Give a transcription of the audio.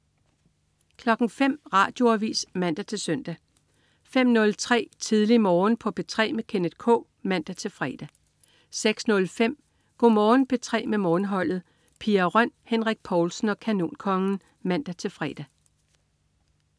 05.00 Radioavis (man-søn) 05.03 Tidlig Morgen på P3 med Kenneth K (man-fre) 06.05 Go' Morgen P3 med Morgenholdet. Pia Røn, Henrik Povlsen og Kanonkongen (man-fre)